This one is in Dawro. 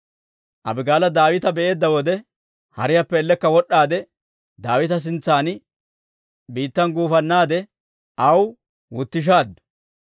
Abigaala Daawita be'eedda wode, hariyaappe ellekka wod'd'aade, Daawita sintsan biittan guufannaade aw wutishaaddu.